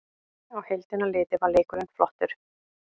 Á heildina litið var leikurinn flottur